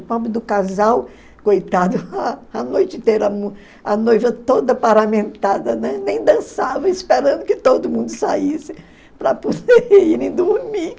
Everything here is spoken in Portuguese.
do casal, coitado, a noite inteira, a noiva toda paramentada, nem dançava, esperando que todo mundo saísse para poder irem dormir.